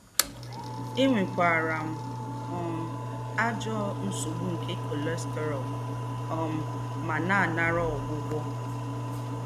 Ènwékwàrà m um àjọ́ ńsógbu nké cholesterol um mà nà-ànàrà ógwùgwọ́